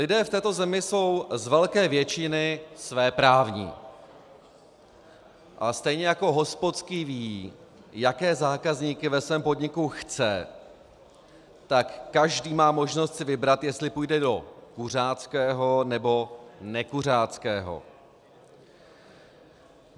Lidé v této zemi jsou z velké většiny svéprávní, ale stejně jako hospodský ví, jaké zákazníky ve svém podniku chce, tak každý má možnost si vybrat, jestli půjde do kuřáckého, nebo nekuřáckého.